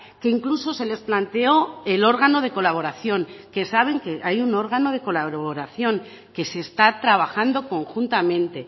que incluso se les planteó el órgano de colaboración que saben que hay un órgano de colaboración que se está trabajando conjuntamente